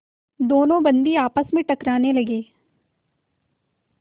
दोनों बंदी आपस में टकराने लगे